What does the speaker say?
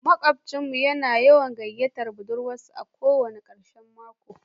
Makwabcin mu yana yawan gayyatar budurwarsa a ko wani karshen mako